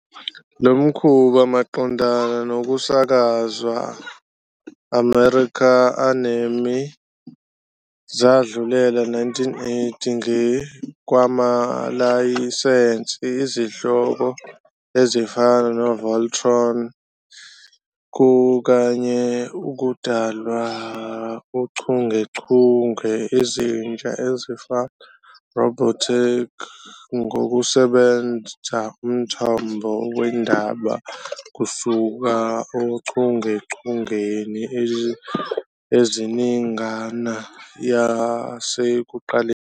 Lo mkhuba maqondana nokusakazwa American anime zadlulela 1980 nge kwamalayisensi izihloko ezifana "Voltron" kanye 'ukudalwa' uchungechunge ezintsha ezifana "Robotech" ngokusebenzisa umthombo wendaba kusuka ochungechungeni eziningana yasekuqaleni.